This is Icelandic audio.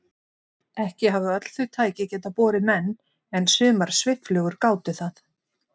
Ekki hafa öll þau tæki getað borið menn en sumar svifflugur gátu það.